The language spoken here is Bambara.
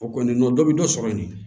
O kɔni dɔ bɛ dɔ sɔrɔ yen